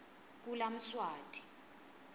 kulamswati